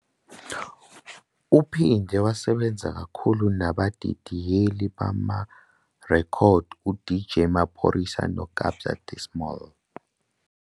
Uphinde wasebenza kakhulu nabadidiyeli bamarekhodi uDJ Maphorisa noKabza De Small.